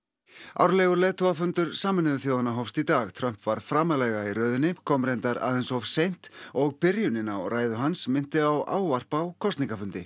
árlegur leiðtogafundur Sameinuðu þjóðanna hófst í dag Trump var framarlega í röðinni kom reyndar aðeins of seint og byrjunin á ræðu hans minnti á ávarp á kosningafundi